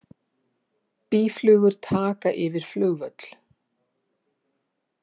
Býflugur taka yfir flugvöll